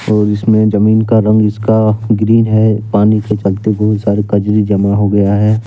और इसमें जमीन का रंग इसका ग्रीन है पानी से चलते बहुत सारे कजरी जमा हो गया है।